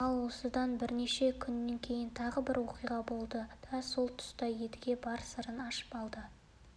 ал осыдан бірнеше күн кейін тағы бір оқиға болды да сол тұста едіге бар сырын ашып алды